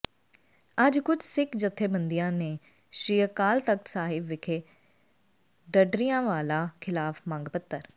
ਅੱਜ ਕੁਝ ਸਿੱਖ ਜਥੇਬੰਦੀਆਂ ਨੇ ਸ਼੍ਰੀ ਅਕਾਲ ਤਖ਼ਤ ਸਾਹਿਬ ਵਿਖੇ ਢੱਡਰੀਆਂਵਾਲਾ ਖਿਲਾਫ ਮੰਗ ਪੱਤਰ